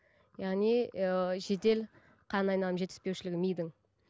яғни ыыы жедел қан айналым жетіспеушілігі мидың